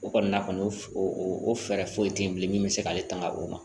O kɔni na kɔni o fɛɛrɛ foyi tɛ yen bilen min bɛ se k'ale tanga o ma